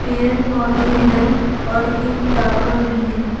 पेड़ पौधे हैं और एक टावर भी है।